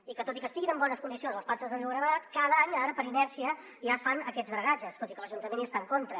i tot i que estiguin en bones condicions les platges del llobregat cada any ara per inèrcia ja es fan aquests dragatges tot i que l’ajuntament hi està en contra